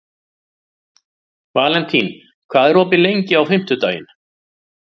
Valentín, hvað er opið lengi á fimmtudaginn?